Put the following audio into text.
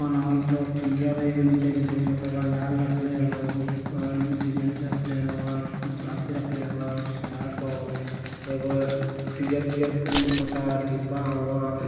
बनवएत हेय पीयर एगो नीचे के जमीन ओकरा बाद एगो लाल रखले हबा एगो बेंच रखले हबा अथी रखले हबा सिंगार बॉक्स एगो बीयर तीयर उम्म छोटा डिब्बा हबा।